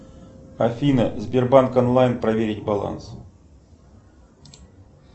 афина сбербанк онлайн проверить баланс